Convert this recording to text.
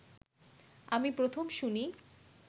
আমি প্রথম শুনি